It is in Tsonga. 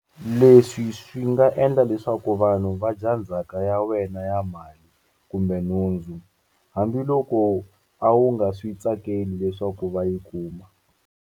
Leswi swi nga endla leswaku vanhu va dya ndzhaka ya wena ya mali kumbe nhundzu, hambiloko a wu nga swi tsakeli leswaku va yi kuma.